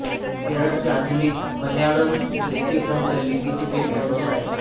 केरळची आधुनिक मल्याळम लिपी ग्रंथ लिपिची थेट वंशज आहे